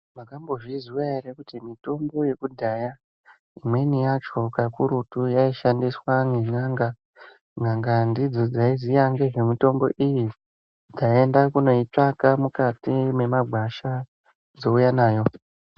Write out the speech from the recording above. Makambozvizwa ere kuti mitombo yekudhaya imweni yacho kakurutu yaishandiswa nen'anga. N'anga ndidzo dzaiziya ngezvemitombo iyi, taenda kunoitsvaka mukati mwemagwasha dzouya nayo.